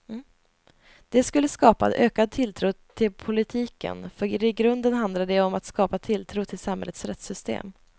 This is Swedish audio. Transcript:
Det skulle skapa ökad tilltro till politiken för i grunden handlar det ju om att skapa tilltro till samhällets rättssystem.